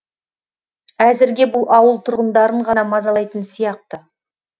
әзірге бұл ауыл тұрғындарын ғана мазалайтын сияқты